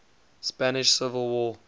spanish civil war